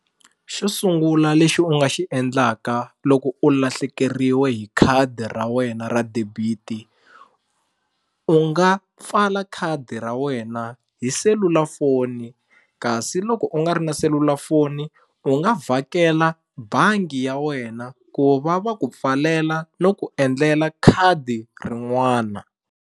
Xo sungula lexi u nga xi endlaka loko u lahlekeriwe hi khadi ra wena ra debit u nga pfala khadi ra wena hi selulafoni kasi loko u nga ri na selulafoni u nga vhakela bangi ya wena ku va va ku pfalela no ku endlela khadi rin'wana.